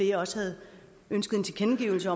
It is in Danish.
jeg også havde ønsket en tilkendegivelse